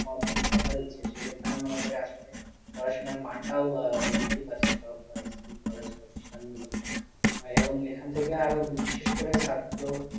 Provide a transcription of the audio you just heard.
কম দেখা যাচ্ছে, সেক্ষেত্রে আমি মনে করি আসলে পড়াশোনার মানটাও আহ বৃদ্ধি পাচ্ছে, সবটাই কলেজ প্রতিষ্ঠানগুলোতে আহ এবং এখান থেকে আরও বিশেষ করে ছাত্র